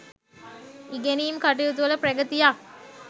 ඉගෙනීම් කටයුතු වල ප්‍රගතියක්